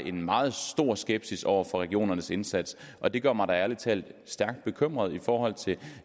en meget stor skepsis over for regionernes indsats og det gør mig da ærlig talt stærkt bekymret i forhold til